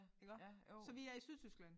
Iggå så vi er i Sydtyskland